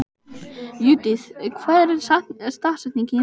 Judith, hver er dagsetningin í dag?